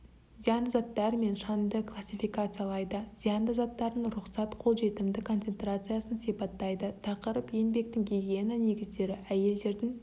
зиянды заттар мен шаңды классификациялайды зиянды заттардың рұқсат қолжетімді концентрациясын сипаттайды тақырып еңбектің гигиена негіздері әйелдердің